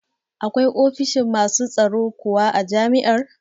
Akwai ofishi masu tsaro kuwa a jami'ar?